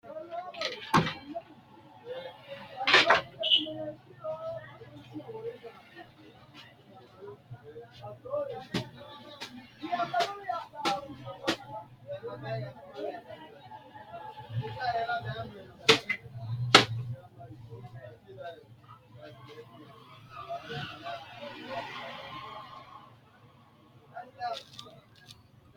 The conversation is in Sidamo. Xaphoomunni, ayee manchino xagicho lainohunni huwata noosihu xagga akimetenni uyinanni amaalenna hajajo agadhine garunni horoonsi’num moro lowo horo noonsataati, kalqete gobbuwa daa”atate golira illacha tugganno gede assitino?